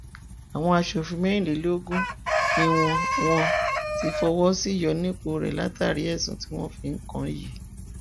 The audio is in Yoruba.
àwọn aṣòfin mẹrìnlélógún ni wọn wọn ti fọwọ sí ìyọnipọ rẹ látàrí àwọn ẹsùn tí wọn fi kàn án yìí